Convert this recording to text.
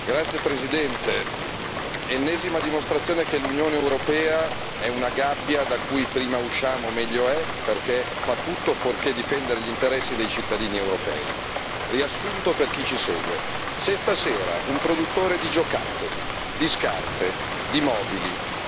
Signor Presidente, onorevoli colleghi, ennesima dimostrazione che l'Unione europea è una gabbia da cui prima usciamo meglio è, perché fa tutto fuorché difendere gli interessi dei cittadini europei. Riassunto per chi ci segue se stasera un produttore di giocattoli, di scarpe,